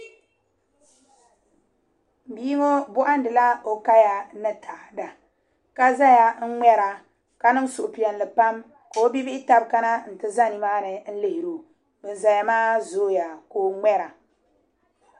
Bia ŋo bohandila o kaya ni taada ka ʒɛya n ŋmɛra ka niŋ suhupiɛlli pam ka o bia bihi taba kana n ti ʒɛ nimaani n lihiro bin ʒɛya maa zooya ka o ŋmɛra